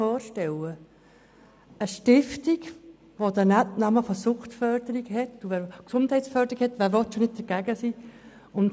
Stellen Sie sich vor, eine Stiftung, die Gesundheitsförderung im Namen trägt, wer will da schon dagegen sein.